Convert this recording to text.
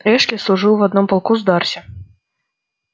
эшли служил в одном полку с дарси